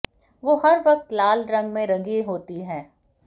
वो हर वक्त लाल लंग में रंगी होती हैं